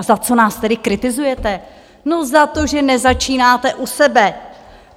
A za co nás tedy kritizujete?- No, za to, že nezačínáte u sebe.